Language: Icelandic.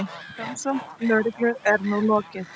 Rannsókn lögreglu er nú lokið.